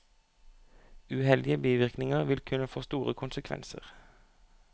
Uheldige bivirkninger vil kunne få store konsekvenser.